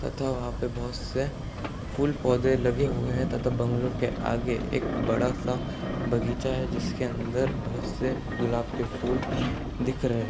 तथा वहां पे बहुत से फूल पौधे लगे हुए हैं तथा बंगलों के आगे एक बड़ा सा बगीचा है जिसके अंदर बहुत से गुलाब के फूल दिख रहे हैं।